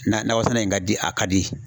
Na nakɔsɛnɛ in ka di a ka di.